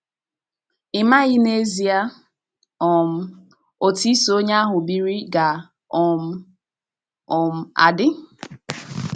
“ Ị maghị n’ezie um otú iso onye ahụ biri ga um - um adị. ”